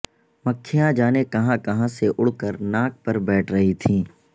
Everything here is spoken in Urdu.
مکھیاں جانے کہاں کہاں سے اڑ کر ناک پر بیٹھ رہی تھیں